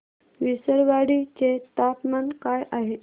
विसरवाडी चे तापमान काय आहे